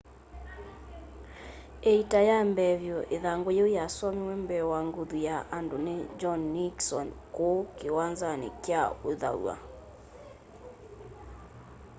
ĩita ya mbee vyũ ĩthangũ yĩu yasomiwe mbee wa nguthu ya andũ nĩ john nixon kũu kĩwanzanĩ kya ũthaw'a